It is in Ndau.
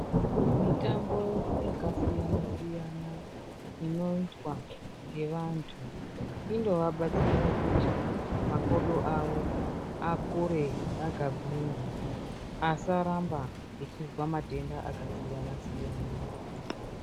Mitambo yakasiyana siyana inoitwa ngevantu inovabatsira kuti makodo avo akure akagwinya asaramba echizwa matenda akasiyana siyana.